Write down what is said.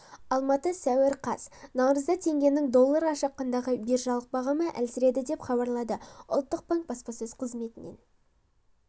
алматы сәуір қаз наурызда теңгенің долларға шаққандағы биржалық бағамы әлсіреді деп хабарлады ұлттық банк баспасөз қызметінен